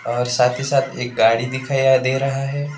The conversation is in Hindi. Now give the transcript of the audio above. और साथ ही साथ एक गाड़ी दिखाई दे रहा है।